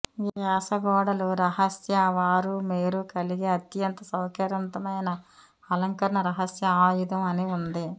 యాస గోడలు రహస్య వారు మీరు కలిగి అత్యంత సౌకర్యవంతమైన అలంకరణ రహస్య ఆయుధం అని ఉంది